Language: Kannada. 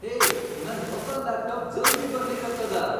ಹೇ ನನ್ ಹೊಸಾ ಲಾಪ್ಟಾಪ್ ಜಲ್ದಿ ಬರ್ಲಿಕತ್ತದ.